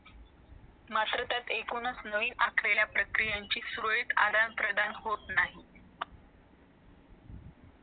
नावं कमवलेलं त्या नावाचा वापर करूनच मी जे काही उभा करू शकलो ते तुझ्या पैशातून च उभा करू शकलो मी काहीच करू शकलो नाही ते नाव तो म्हणतो तुझ्या नावाचा वापर नाही केला तर तू एक भिकारी होशील भिकारी भिकारी तेच